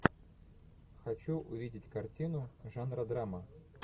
хочу увидеть картину жанра драма